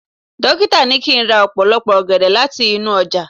dokita ni kín ra opolopo ògèdè lati inú ojà